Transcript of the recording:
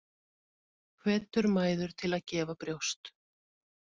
Hvetur mæður til að gefa brjóst